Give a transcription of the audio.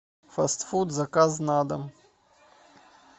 фаст фуд заказ на дом